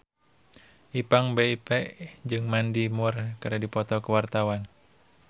Ipank BIP jeung Mandy Moore keur dipoto ku wartawan